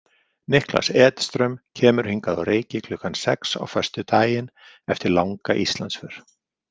Niklas Edström kemur hingað á Reyki klukkan sex á föstudaginn eftir langa Íslandsför.